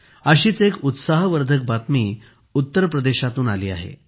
अशीच एक उत्साहवर्धक बातमी उत्तर प्रदेशातून आली आहे